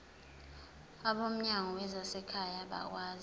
abomnyango wezasekhaya bakwazi